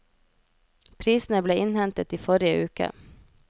Prisene ble innhentet i forrige uke.